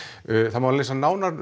það má lesa nánar